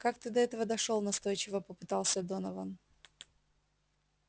как ты до этого дошёл настойчиво попытался донован